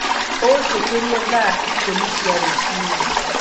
ũ njũkĩre thaa ikũmi cia rũcinĩ